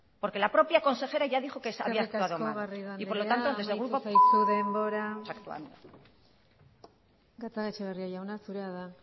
porque la propia consejera ya dijo que se había eskerrik asko garrido andrea y por lo tanto desde el grupo amaitu zaizu denbora gatzagaetxebarria jauna zurea da